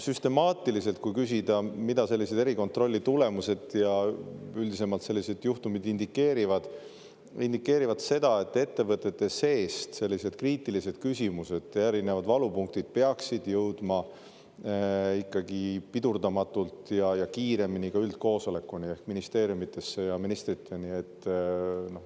Kui küsida, mida sellised erikontrolli tulemused ja üldisemalt sellised juhtumid indikeerivad, siis nad indikeerivad seda, et ettevõtete seest peaksid sellised kriitilised küsimused ja erinevad valupunktid jõudma ikkagi pidurdamatult ja kiiremini ka üldkoosolekuni ehk ministeeriumidesse ja ministriteni.